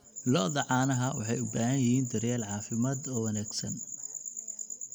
Lo'da caanaha waxay u baahan yihiin daryeel caafimaad oo wanaagsan.